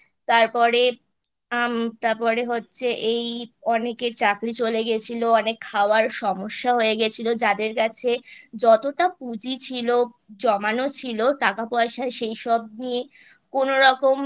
তারপরে উম তারপরে হচ্ছে এই অনেকের চাকরি চলে গেছিলো অনেক খাওয়ার সমস্যা হয়ে গেছিলো যাদের কাছে যতটা পুঁজি ছিল জমানো ছিল টাকাপয়সা সেইসব দিয়ে কোনোরকম